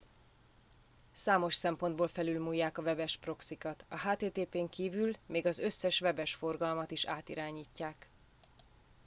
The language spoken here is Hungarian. számos szempontból felülmúlják a webes proxykat a http n kívül még az összes webes forgalmat is átirányítják